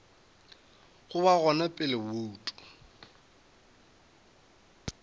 go ba gona pele bouto